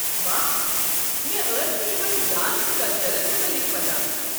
واہ، مےٚ ٲس نہٕ یِمن ڈانس کلچرَن متعلِق پتاہ۔